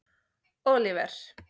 Oliver